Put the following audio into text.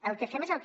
el que fem és el que